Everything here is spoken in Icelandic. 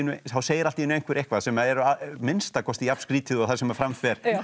þá segir allt í einu einhver eitthvað sem er að minnsta kosti jafn skrýtið og það sem fram fer